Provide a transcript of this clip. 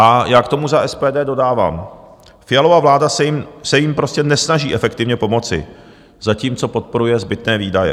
A já k tomu za SPD dodávám: Fialova vláda se jim prostě nesnaží efektivně pomoci, zatímco podporuje zbytné výdaje.